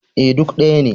E, duk ɗaya ne.